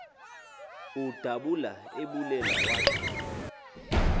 udabula ebulela wathi